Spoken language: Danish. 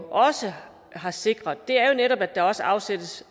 også har sikret er jo netop at der også afsættes